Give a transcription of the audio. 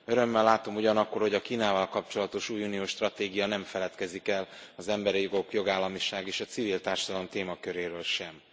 Örömmel látom ugyanakkor, hogy a Kínával kapcsolatos új uniós stratégia nem feledkezik el az emberi jogok, jogállamiság és a civil társadalom témaköréről sem.